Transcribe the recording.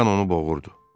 Qan onu boğurdu.